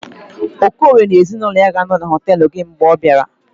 okorie ga-anọ na ezinụlọ ya na họtelu gị mgbe ọ gara